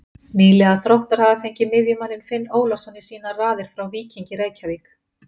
Nýliðar Þróttar hafa fengið miðjumanninn Finn Ólafsson í sínar raðir frá Víkingi Reykjavík.